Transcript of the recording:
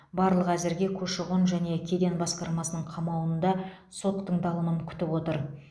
барлығы әзірге көші қон және кеден басқармасының қамауында сот тыңдалымын күтіп отыр